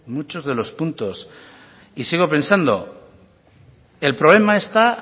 muchos de los puntos y sigo pensando el problema está